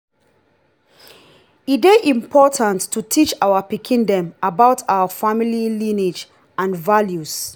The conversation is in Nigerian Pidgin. e dey important to teach our pikin dem about our family lineage and values.